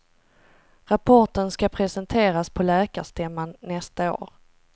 Rapporten ska presenteras på läkarstämman nästa år.